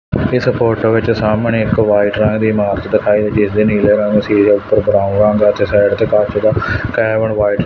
ਇਸ ਫੋਟੋ ਵਿੱਚ ਸਾਹਮਣੇ ਇੱਕ ਵਾਈਟ ਰੰਗ ਦੀ ਇਮਾਰਤ ਦਿਖਾਈ ਦੀ ਜਿਸਦੇ ਨੀਲੇ ਰੰਗ ਸੀਰੇ ਉੱਪਰ ਭਰਿਆ ਆ ਤੇ ਸਾਈਡ ਤੇ ਕੱਚ ਦਾ ਕੈਮਲ ਵਾਈਟ --